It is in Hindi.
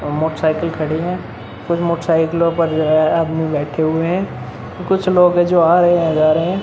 और मोटरसाइकिल खड़ी है। कुछ मोटरसाइकिलो पे जो है आदमी बैठे हुए है। कुछ लोग हे जो आ रहे है जा रहे है।